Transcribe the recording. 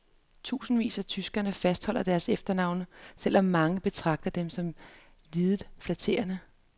Tusinder af tyskere fastholder deres efternavne, selv om mange betragter dem som lidet flatterende.